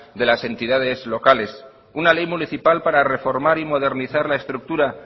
de las entidades locales una ley municipal para reformar y modernizar la estructura